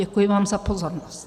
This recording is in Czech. Děkuji vám za pozornost.